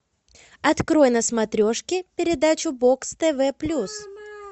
открой на смотрешке передачу бокс тв плюс